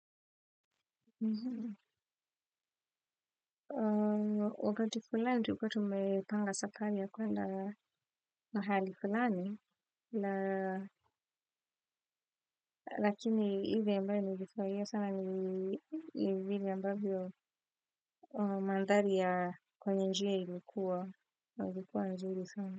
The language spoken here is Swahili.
Oooh wakati fulani, tulikuwa tumepanga safari ya kuenda mahali fulani lakini ile ambayo ningefurahia sana ni vile ambavyo mandhari ya kwenye njia ilikuwa, ilikuwa nzuri sana.